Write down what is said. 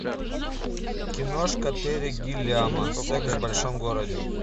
киношка терри гиллиама секс в большом городе